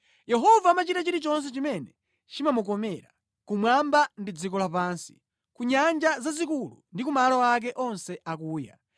Yehova amachita chilichonse chimene chimamukomera, kumwamba ndi dziko lapansi, ku nyanja zazikulu ndi ku malo ake onse akuya.